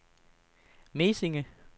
Mesinge